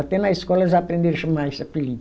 Até na escola eles aprenderam a chamar esse apelido.